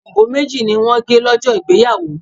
Àkàrà òyìnbó méjì ni wọ́n gé lọ́jọ́ ìgbéyàwó.